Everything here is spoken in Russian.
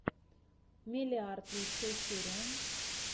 меллиарт лучшая серия